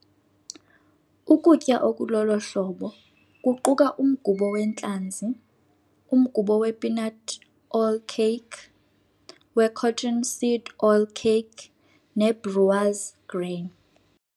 Ukutya okulolo hlobo kuquka umgubo wentlanzi, umgubo wepeanut oil cake, wecotton seed oil cake nebrewers' grain.